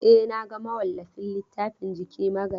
E, na ga mawallafin littafin Jiki Magayi.